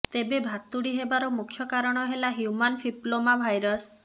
ତେବେ ଭାତୁଡ଼ି ହେବାର ମୁଖ୍ୟ କାରଣ ହେଲା ହ୍ୟୁମାନ୍ ଫିପଲ୍ଲୋମା ଭାଇରସ